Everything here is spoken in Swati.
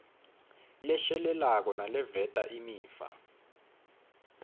leshelelako naleveta imiva